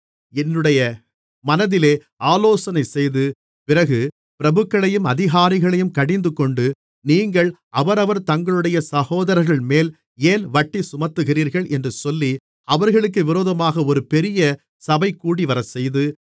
என்னுடைய மனதிலே ஆலோசனைசெய்து பிறகு பிரபுக்களையும் அதிகாரிகளையும் கடிந்துகொண்டு நீங்கள் அவரவர் தங்களுடைய சகோதரர்கள்மேல் ஏன் வட்டி சுமத்துகிறீர்கள் என்று சொல்லி அவர்களுக்கு விரோதமாக ஒரு பெரிய சபை கூடிவரச்செய்து